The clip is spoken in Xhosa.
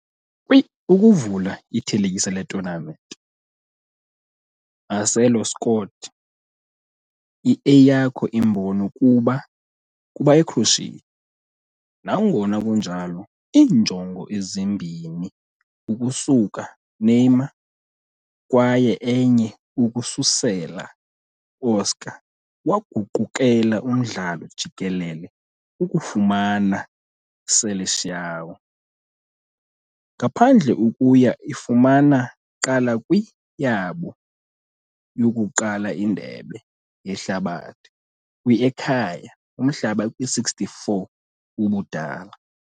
Kwi-ukuvula i-thelekisa le tournament, Marcelo scored i-eyakho imbono kuba Ecroatia, nangona kunjalo iinjongo ezimbini ukusuka Neymar kwaye enye ukususela Oscar waguqukela umdlalo jikelele ukufumana "Seleção" ngaphandle ukuya ifumana qala kwi yabo yokuqala Indebe Yehlabathi kwi ekhaya umhlaba kwi-64 ubudala.